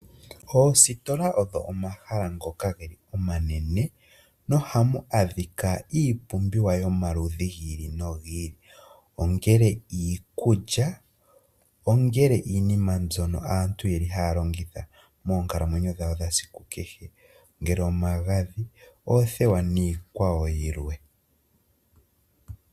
Oositola odho omahala ngoka ge li omanene no hamu adhika iipumbiwa yomaludhi gi ili nogi ili, ongele iikulya, ongele iinima mbyono aantu ye li haya longitha moonkalamweyo dhawo dha kehe esiku kehe. Ngele omagadhi, oothewa niikwawo yilwe.